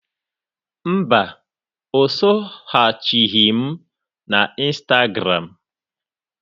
Mba, o soghachighị m na Ịnstagram.